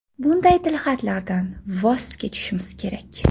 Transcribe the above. Bunday tilxatlardan voz kechishimiz kerak.